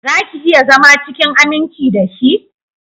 Zaki iya zama cikin aminci dashi?